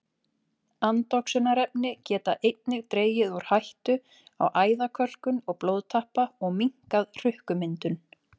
Andoxunarefni geta einnig dregið úr hættu á æðakölkun og blóðtappa og minnkað hrukkumyndun.